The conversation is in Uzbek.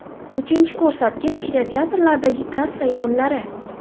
Uchinchi ko‘rsatkich kinoteatrlardagi kassa yig‘imlari.